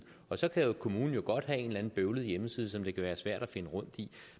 og så kan kommunen jo godt have en eller anden bøvlet hjemmeside som det kan være svært at finde rundt i